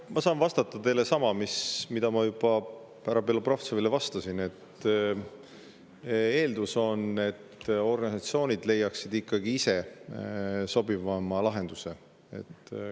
Ma saan vastata teile sama, mida ma juba härra Belobrovtsevile vastasin, et eeldus on, et organisatsioonid leiaksid ikkagi ise sobiva lahenduse.